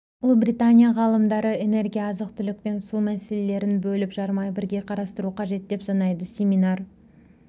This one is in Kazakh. ұлыбритания ғалымдары энергия азық-түлік пен су мәселелерін бөліп жармай бірге қарастыру қажет деп санайды семинар